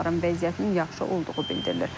Onların vəziyyətinin yaxşı olduğu bildirilir.